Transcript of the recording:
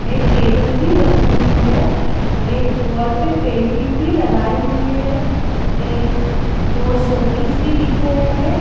एक टेबल भी रखी हुई हैं एक वॉल पे पेंटिंग भी लगाई हुई हैं एक दो शो पीस भी दिख रहे है।